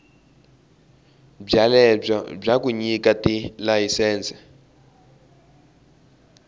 byelebyo bya ku nyika tilayisense